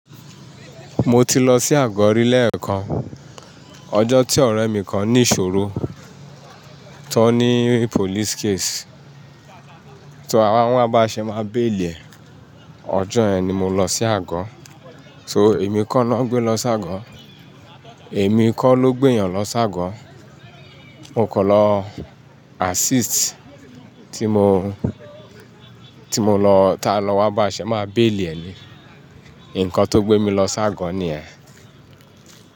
Mo ti lọ sí àgọ́ rí lẹ́ẹ̀kan. Ọjọ́ tí ọ̀rẹ́ mi kan ní ìṣòro, tó ní police case. To awa ń wá bá ṣẹ máa béèlì ẹ, ọjọ́ ẹni mo lọ sí àgọ́. So èmi kọ́ ló gbé lọ sí àgọ́, èmi kọ́ ló gbé èeyàn lọ sí àgọ́. Mo kọ̀ lọ assist, tí mo, tí mo lọ táa lọ wa bá a ṣe máa béèlì ẹ ni. Ǹkan tó gbé mi lọ sí àgọ́ ni yẹ́n.